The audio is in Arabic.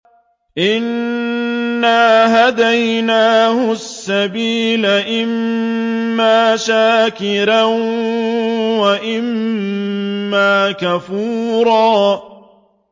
إِنَّا هَدَيْنَاهُ السَّبِيلَ إِمَّا شَاكِرًا وَإِمَّا كَفُورًا